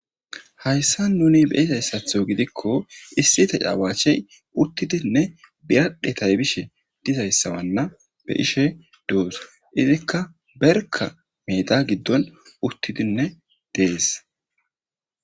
hayssa nuni be izayssatho gidikko issi ta caawaachey uttidinne biyadhetaybishe dizayssawanna be ishe doos izikka berka meda giddon uttidinne dees